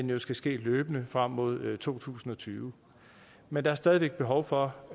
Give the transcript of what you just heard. det skal ske løbende frem mod to tusind og tyve men der er stadig væk behov for